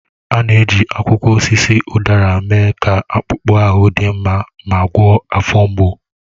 A na-eji akwụkwọ osisi udara mee ka akpụkpọ ahụ dị mma ma gwọọ afọ mgbu.